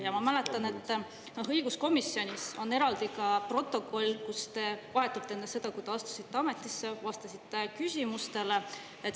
Ja ma mäletan, et õiguskomisjonis on eraldi ka protokoll, kus vahetult enne seda, kui te astusite ametisse, vastasite küsimustele.